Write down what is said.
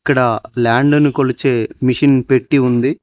ఇక్కడ ల్యాండ్ ను కొలిచే మిషన్ పెట్టి ఉంది.